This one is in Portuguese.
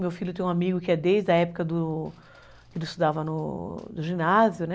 Meu filho tem um amigo que é desde a época do, que ele estudava no... ginásio, né?